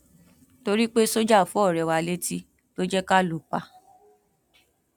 torí pé sójà fọ ọrẹ wa létí ló jẹ ká lù ú pa